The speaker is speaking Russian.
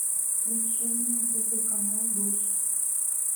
включи мне на тв канал дождь